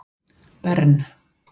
Bern